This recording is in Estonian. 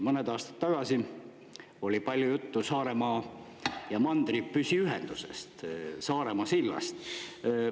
Mõned aastad tagasi oli palju juttu Saaremaa ja mandri püsiühendusest, Saaremaa sillast.